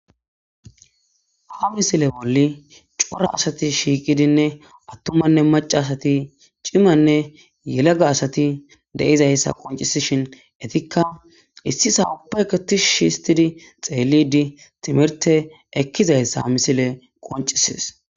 Ha misile bolli cora asati shiiqidinne attumanne macasati cimanne yelega asati deizayssa qoncisishin etikka issi sawupaketishsh histidi xeelidi timirte ekkizayssa misile qoncisis.